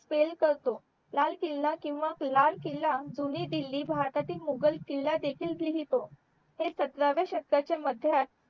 करतो लाल किला किंवा लाल किला दोन्ही दिल्ली भरतातीळ मुघल किला देखील लिहितो ते सतराव्या षटकाच्या मध्य